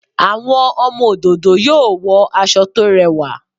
Àwọn ọmọ òdòdó yóò wọ aṣọ tó rẹwà